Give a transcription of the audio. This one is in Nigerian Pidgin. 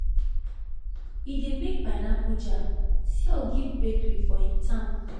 e dey make pineapple jam sell give bakery for hin town